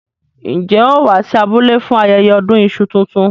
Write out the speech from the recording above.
Njẹ́ ó wá sí abúlé fún ayẹyẹ ọdún iṣu tuntun?